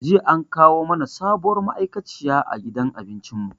Jiya an kawo mana sabuwar ma'aikaciya a gidan abincin mu.